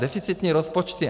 Deficitní rozpočty.